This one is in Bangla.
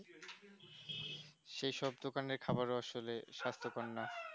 সেই সব দোকানের খাবার ও আসলে সাস্থ কর নয়